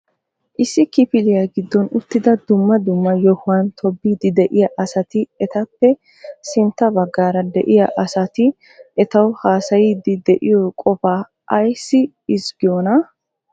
Issi kifiliya giddon uttidi dumma dumma yohuwan tobbidi de'iyaa asati etappe sintta baggaara de'iyaa asati etawu haassayidi de'iyo qofa ayssi ezggiyoonaa?